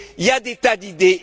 Il y a des tas d'idées.